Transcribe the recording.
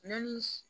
Nɔnɔnin